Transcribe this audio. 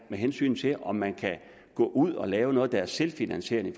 hensyn til om man kan gå ud og lave noget der er selvfinansierende